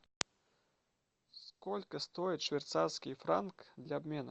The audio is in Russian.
сколько стоит швейцарский франк для обмена